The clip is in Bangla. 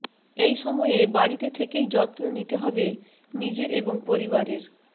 এই সময়ে বাড়িতে থেকেই যত্ন নিতে হবে নিজের এবং পরিবারের